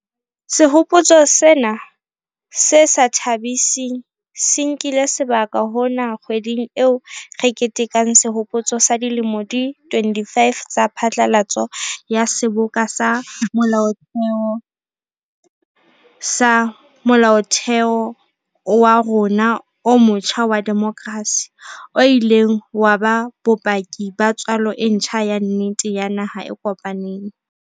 Sehopotso sena se sa tha-biseng se nkile sebaka hona kgweding eo re ketekang sehopotso sa dilemo di 25 tsa phatlalatso ya Seboka sa Molaotheo sa Molaotheo wa rona o motjha wa demokrasi, o ileng wa ba bopaki ba tswalo e ntjha ya nnete ya naha e kopaneng.